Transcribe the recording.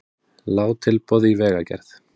Lág tilboð í vegagerð